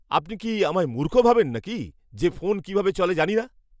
আপনি কি আমায় মূর্খ ভাবেন নাকি যে ফোন কীভাবে চলে জানি না!